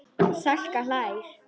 Salka hlær.